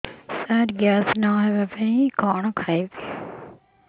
ସାର gas ନ ହେବା ପାଇଁ କଣ ଖାଇବା ଖାଇବି